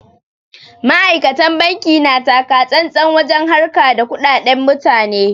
Ma'aikatan banki na takatsantsan wajen harka da kuɗaɗan mutane.